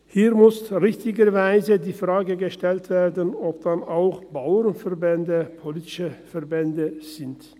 Hier muss richtigerweise die Frage gestellt werden, ob auch Bauernverbände politische Verbände sind.